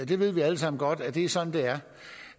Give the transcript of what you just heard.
vi ved alle sammen godt at det er sådan det er